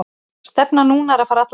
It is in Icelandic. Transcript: Stefnan núna er að fara alla leið.